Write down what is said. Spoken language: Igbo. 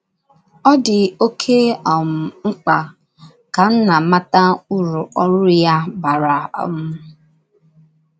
Ọ dị oké um mkpa ka nna mata ụrụ ọrụ ya bara um.